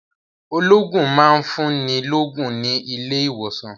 Olóògùn máa ń fún ni lógún ní ilé ìwòsàn